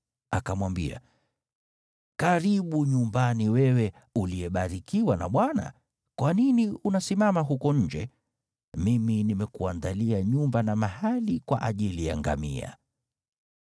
Akamwambia, “Karibu nyumbani wewe uliyebarikiwa na Bwana , kwa nini unasimama huko nje? Mimi nimekuandalia nyumba na mahali kwa ajili ya ngamia.”